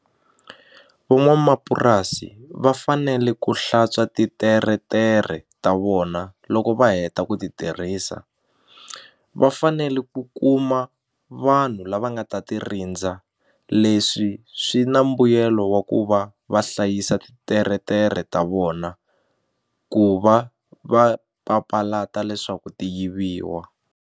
Van'wamapurasi va fanele ku hlantswa ti teretere ta vona loko va heta ku ti tirhisa va fanele ku kuma vanhu lava u nga ta ti rindza leswi swi na mbuyelo wa ku va va hlayisa titeretere ta vona ku va va papalata leswaku ti yiviwa.